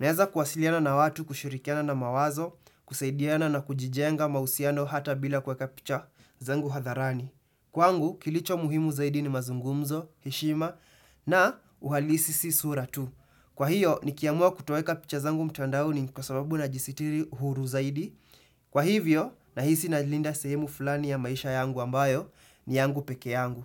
Naeza kuwasiliana na watu kushirikiana na mawazo, kusaidiana na kujijenga mahusiano hata bila kuweka picha zangu hadharani. Kwangu kilicho muhimu zaidi ni mazungumzo, heshima na uhalisi si sura tu. Kwa hiyo nikiamua kutoweka picha zangu mtandaoni kwa sababu najisitiri huru zaidi. Kwa hivyo nahisi nalinda sehemu fulani ya maisha yangu ambayo ni yangu peke yangu.